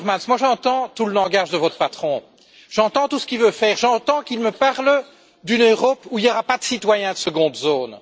Timmermans, j'entends tout le langage de votre patron, j'entends tout ce qu'il veut faire, j'entends qu'il me parle d'une Europe où il n'y aura pas de citoyens de seconde zone.